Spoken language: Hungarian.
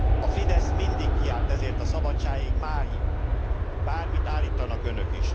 A Fidesz mindig kiállt ezért a szabadságért máig, bármit állítsanak is önök.